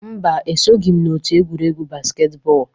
Mba, esoghị m n'otu egwuregwu basketball.